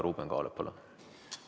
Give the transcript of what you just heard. Ruuben Kaalep, palun!